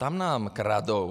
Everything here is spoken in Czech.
Tam nám kradou.